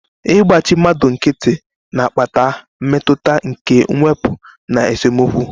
Igbachi mmadu nkiti na-akpata mmetụta nke mwepu na esemokwu.